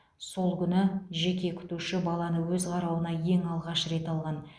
сол күні жеке күтуші баланы өз қарауына ең алғаш рет алған